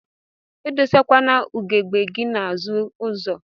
Idosakwana ugegbe gi n'azụ ụzọ.